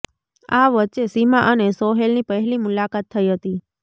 આ વચ્ચે સીમા અને સોહેલ ની પહેલી મુલાકાત થઇ હતી